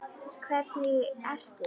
Hvernig eitrun?